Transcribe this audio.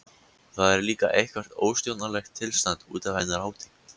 Það er líka eitthvert óstjórnlegt tilstand útaf hennar hátign.